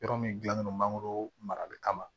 Yɔrɔ min gilannen don mangoro marali kama